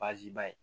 ba ye